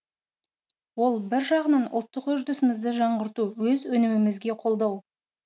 ол бір жағынан ұлттық үрдісімізді жаңғырту өз өнімімізге қолдау